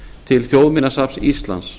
til þjóðminjasafns íslands